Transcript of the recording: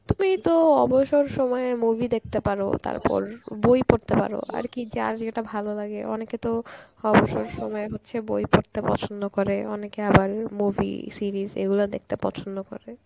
তুই তো অবসর সময়ে movie দেখতে পারো তারপর বই পড়তে পারো আর কী যার যেটা ভালো লাগে অনেকে তো অবসর সময় হচ্ছে বই পড়তে পছন্দ করে অনেকে আবার উম movie, series এই গুলো দেখতে পছন্দ করে.